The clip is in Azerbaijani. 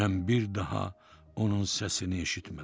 Mən bir daha onun səsini eşitmədim.